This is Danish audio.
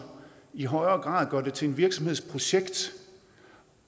i højere grad gør det til en virksomheds projekt